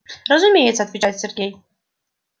разумеется отвечает сергей